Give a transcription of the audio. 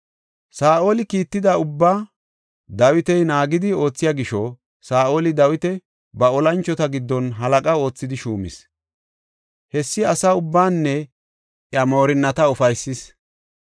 Saa7oli kiitida ubbaa Dawiti naagetidi oothiya gisho, Saa7oli Dawita ba olanchota giddon halaqa oothidi shuumis. Hessi asa ubbaanne iya moorinnata ufaysis.